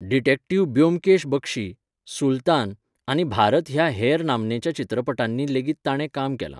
Detective Byomkesh Bakshi, Sultan, आनी भारत ह्या हेर नामनेच्या चित्रपटांनी लेगीत ताणें काम केलां.